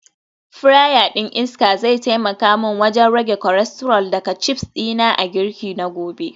Fryer din iska zai taimaka min wajen rage cholesterol daga chips dina a girki na gobe